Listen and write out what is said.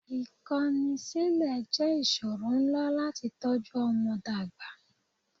Ìkọ́ni sílẹ̀ jẹ́ ìṣòro ńlá láti tọ́jú ọmọ dàgbà.